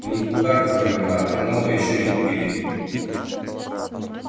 у них кухарка померла а новой ещё не купили